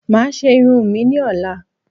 Mà á ṣé irun mi ní ọ̀la